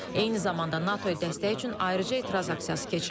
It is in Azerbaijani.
Eyni zamanda NATO-ya dəstək üçün ayrıca etiraz aksiyası keçirilib.